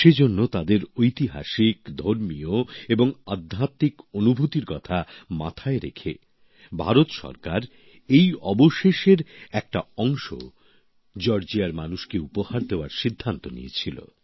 সেজন্য তাদের ঐতিহাসিক ধর্মীয় এবং আধ্যাত্বিক অনুভূতির কথা মাথায় রেখে ভারত সরকার এই অবশেষের একটা অংশ জর্জিয়ার মানুষকে উপহার দেওয়ার সিদ্ধান্ত নিয়েছিল